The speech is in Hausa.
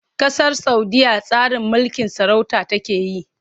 Ƙasar Saudiyya tsarin mulkin sarauta take yi.